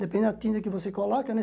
Depende da tinta que você coloca, né?